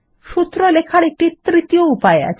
সূত্র লেখার একটি তৃতীয় উপায় আছে